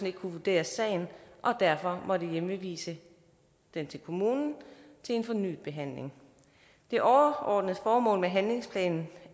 ikke kunne vurdere sagen og derfor måtte hjemvise den til kommunen til en fornyet behandling det overordnede formål med handlingsplanen